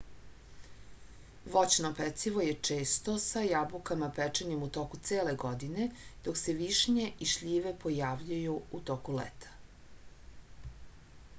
voćno pecivo je često sa jabukama pečenim u toku cele godine dok se višnje i šljive pojavljuju u toku leta